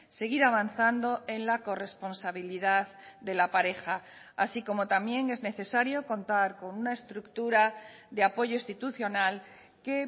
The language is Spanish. seguir avanzando en la corresponsabilidad de la pareja así como también es necesario contar con una estructura de apoyo institucional que